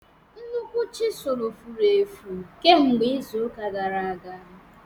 Nnukwu chisulu furu efu kemgbe izu ụka gara aga.